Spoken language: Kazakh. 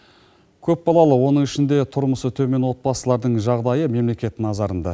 көп балалы оның ішінде тұрмысы төмен отбасылардың жағдайы мемлекет назарында